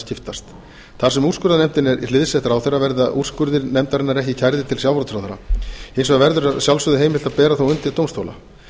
skiptast þar sem úrskurðarnefndin er hliðsett ráðherra verða úrskurðir nefndarinnar ekki kærðir til sjávarútvegsráðherra hins vegar verður að sjálfsögðu heimilt að bera þá undir dómstóla